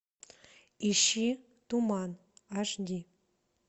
ищи туман аш ди